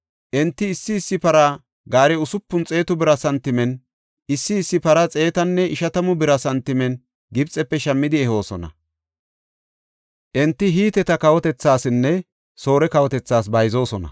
Enti issi issi para gaare usupun xeetu bira santimen, issi issi para xeetanne ishatamu bira santimen Gibxefe shammidi ehoosona. Enti Hiteta kawotasinne Soore kawotas bayzoosona.